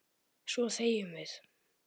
Svo þegjum við.